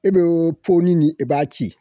E bɛ ni ni i b'a ci